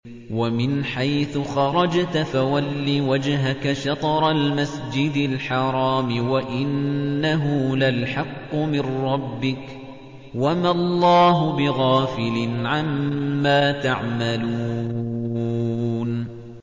وَمِنْ حَيْثُ خَرَجْتَ فَوَلِّ وَجْهَكَ شَطْرَ الْمَسْجِدِ الْحَرَامِ ۖ وَإِنَّهُ لَلْحَقُّ مِن رَّبِّكَ ۗ وَمَا اللَّهُ بِغَافِلٍ عَمَّا تَعْمَلُونَ